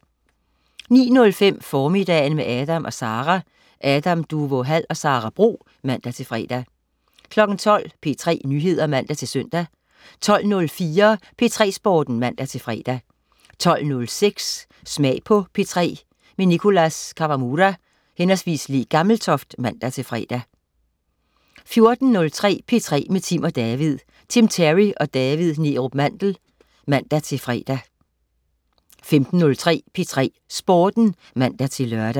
09.05 Formiddagen med Adam & Sara. Adam Duvå Hall og Sara Bro (man-fre) 12.00 P3 Nyheder (man-søn) 12.04 P3 Sporten (man-fre) 12.06 Smag på P3. Nicholas Kawamura/Le Gammeltoft (man-fre) 14.03 P3 med Tim & David. Tim Terry og David Neerup Mandel (man-fre) 15.03 P3 Sporten (man-lør)